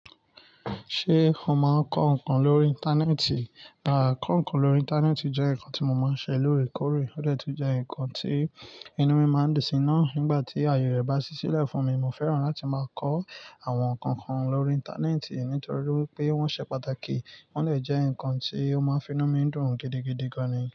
Ṣé o máa ń kọ ǹkan lórí Íńtánẹ́ẹ̀tì? Rárá, kọ ǹkan lórí Íńtánẹ́ẹ̀tì jẹ́ ǹkan tí mo máa ń ṣe lóòrèkóòrè, ó dè tun jẹ́ ǹkan tí inú mi máa ń dunsi nà. Nígbà tí aye rẹ̀ bá ṣí sílẹ̀ fún mi, mo fẹ́ràn láti máa kọ àwọn ǹkan kan lórí Íńtánẹ́ẹ̀tì nítorí wípé wọ́n ṣe pàtàkì, wọ́n lè jẹ́ ǹkan tí ó máa ń fi inú mi dùn gidigidi gan ni.